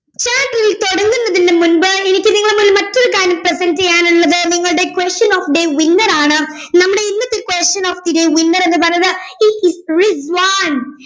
chapter തുടങ്ങുന്നതിന്റെ മുമ്പ് എനിക്ക് നിങ്ങളുടെ മുമ്പിൽ മറ്റൊരു കാര്യം present ചെയ്യാനുള്ളത് നിങ്ങളുടെ question of day winner ആണ് നമ്മുടെ ഇന്നത്തെ question of the day winner എന്ന് പറയുന്നത് it is റിസ്‌വാൻ